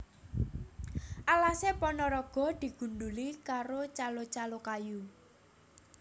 Alase Ponorogo digundhuli karo calo calo kayu